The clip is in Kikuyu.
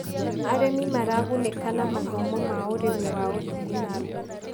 Arĩmi maragunĩka na mathomo ma ũrĩmi wa ũthiĩ na mbere.